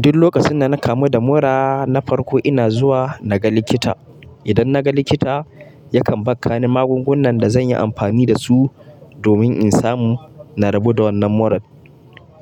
Duk lokacin da na kamu da mura na farko ina zuwa naga likita. Idan naga likita yakan bakka ni magungunan da zanyi amfani dasu domin in samu narabo da wannan muran.